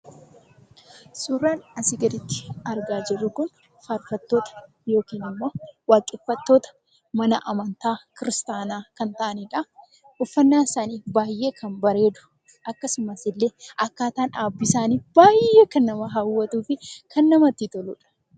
Suuraan asii gaditti argaa jirru kun faarfattoota yookiin ammoo waaqeffattoota mana amantaa kiristaanaa kan ta'anidha. Uffannaan isaanii baay'ee kan bareedu akkasumas illee akkaataan dhaabbii isaanii baay'ee kan nama hawwatuu fi kan namatti toludha.